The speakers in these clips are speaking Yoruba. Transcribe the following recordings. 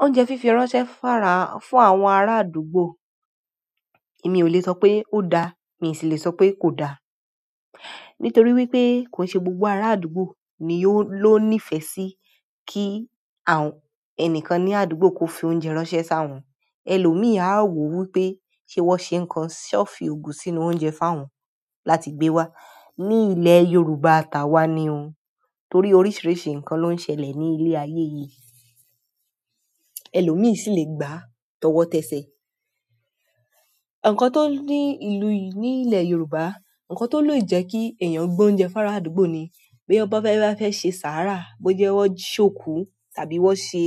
Oúnjẹ fífi ránṣẹ́ fún àwọn ará àdúgbò, èmi ò le sọ pé ó da, mi ò sì le sọ pé kò da. Nítorí wípé kò ń ṣe gbogbo ará àdúgbò ni ó ní ìfẹ́ sí kí ẹnìkan ní àdúgbò kó fi oúnjẹ ránṣẹ́ sá wọn. Ẹlòmíì á wò wípé ṣé wón ṣe nǹkan, ṣé wọ́n fi ògùn sínú oúnjẹ fún àwọn láti gbe wá. Ní ilẹ̀ Yorùbá tà wa ni ò, torí oríṣiríṣi ǹkan ló ń ṣẹlẹ̀ ní ilé ayé yìí. Ẹlòmíì sì lè gbà á tọwọ́tẹsẹ̀. Ǹkan tó ní ìlu yì ní ilẹ̀ Yorùbá, ǹkan tó lè jẹ́ kí èèyàn gbé oúnjẹ fún ará àdúgbò ni pé bóyá bí wọ́n bá fẹ́ ṣe sàárà, bó jẹ́ wọ́n ṣòkú tàbí wọ́n ṣe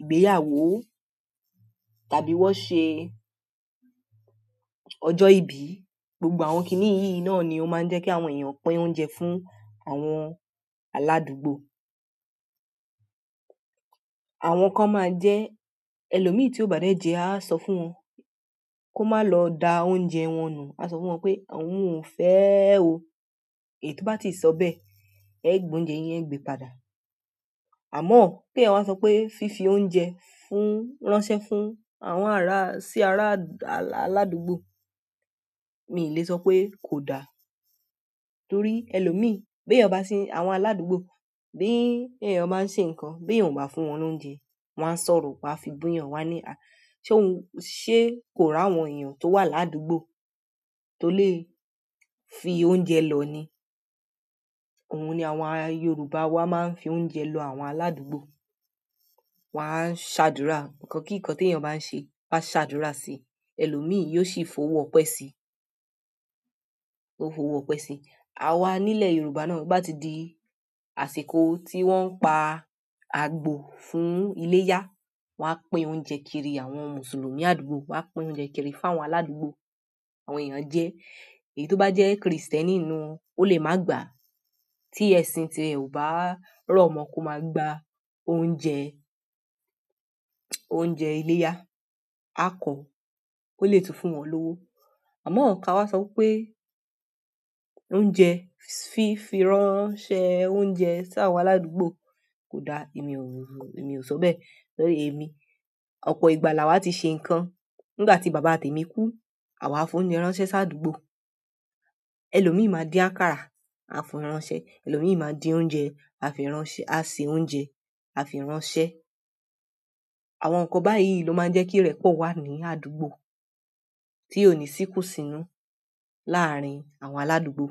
ìgbéyàwó tàbí wọ́n ṣe ọjọ́ ìbí, gbogbo àwọn kiní yìí náà ni ó ma ń jẹ́ kí àwọn èèyàn pín oúnjẹ fún àwọn aládùúgbò. Àwọn kan máa jẹ́ ẹlòmíì tí ò bá dẹ̀ jẹ ẹ́ á sọ fún wọn kó máa lọ da oúnjẹ wọn nù, á sọ fún wọn pé "òun ò fẹ́ẹ́ o", èyí tó bá ti sọ bẹ́ẹ̀, ẹ gbó oúnjẹ yín, ẹ ẹ́ gbe padà. Àmọ́ ọ̀ pé èèyàn wá sọ pé fífi oúnjẹ fún, ránṣẹ́ fún àwọn ará, sí ará aládùúgbò, mi ì le sọ pé kò da. Torí ẹlòmíì, bí èèyàn bá ń ṣe, àwọn aládùúgbò, bí èèyàn bá ń ṣe nǹkan, bí èèyàn ò bá fún wọn ní oúnjẹ, wọ́n á sọ̀rọ̀ wọ́n á fi bú yàn wọ́n á ní à ṣé òun, ṣé kò rí àwọn èèyàn tó wà ládùúgbò tó lè fi oúnjẹ lọ̀ ni? Òun ni àwọn ará Yorùbá wa máa ń fi oúnjẹ lọ àwọn aládùúgbò. Wọ́n á ṣàdúrà, ǹkan kí ǹkan tí èèyàn bá ń ṣe, wọ́n á ṣàdúrà sí i, ẹlòmíì yóò sì fowó ọpẹ́ si, ó fowó ọpẹ́ si. Àwa nílẹ̀ Yorùbá náà bóbá ti di àsìkò tí wọ́n ń pa àgbò fún iléyá, wọ́n á pín oúnjẹ kiri àwọn Mùsùlùmí àdúgbò, wọ́n á pín oúnjẹ kiri fún àwọn aládùúgbò, àwọn èèyàn á jẹ ẹ́. Èyí tó bá jẹ́ Krìstẹ́nì nínú wọn ó lè má gbà á. Tí ẹ̀sìn tiẹ̀ ò bá rọ̀ mọ kó máa gba oúnjẹ, oúnjẹ iléyá á kọ̀ ọ́, ó lè tún fún wọn lówó. Àmọ́ ọ̀, ká wá sọ wípé oúnjẹ, fífi ránṣẹ́ oúnjẹ sí àwọn aládùúgbò kò da, èmi ò sọ bẹ́ẹ̀, torí èmi, ọ̀pọ̀ ìgbà là wá ti ṣe ǹkan. Nígbà tí bàbá tèmi kú, àwá fi oúnjẹ ránṣẹ́ sí àdúgbò. Ẹlòmíì máa dín àkàrà, á fi ránṣẹ́, ẹlòmíì máa dín oúnjẹ, á fi ránṣẹ́, á se oúnjẹ, á fi ránṣẹ́. Àwọn ǹkan báyìí ló máa ń jẹ́ kí ìrẹ́pọ̀ wà ní àdúgbò tí òní sí kùn sínú láàárín àwọn aládùúgbò.